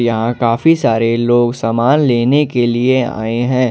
यहां काफी सारे लोग सामान लेने के लिए आए हैं।